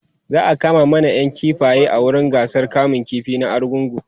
za'a kama manayan kifaye a wurin gasar kamun ƙifi na argungu